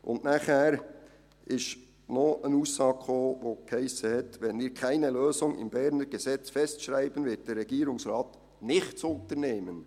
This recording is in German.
Dann kam noch eine Aussage, die lautete: «Wenn wir keine Lösung im Berner Gesetz festschreiben, wird der Regierungsrat nichts unternehmen.